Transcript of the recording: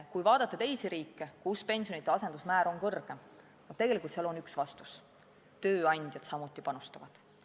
Kui vaadata teisi riike, kus pensionite asendusmäär on kõrgem, siis seal on üks vastus: tööandjad samuti panustavad.